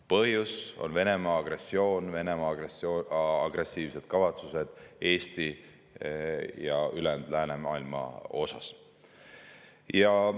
Põhjus on Venemaa agressioon, Venemaa agressiivsed kavatsused Eesti ja ülejäänud läänemaailma suhtes.